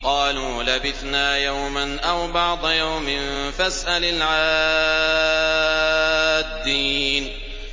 قَالُوا لَبِثْنَا يَوْمًا أَوْ بَعْضَ يَوْمٍ فَاسْأَلِ الْعَادِّينَ